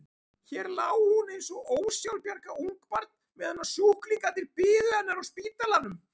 Hér lá hún eins og ósjálfbjarga ungbarn meðan sjúklingarnir biðu hennar á spítalanum.